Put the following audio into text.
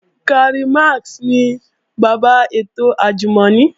Karl Max ni bàbá ètò àjùmọ̀ni